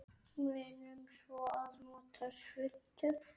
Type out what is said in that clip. Munum svo að nota svuntu.